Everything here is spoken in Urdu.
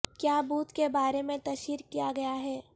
کیا بدھ کے بارے میں تشہیر کیا گیا ہے